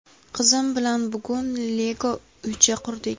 Qizim bilan bugun Lego uycha qurdik.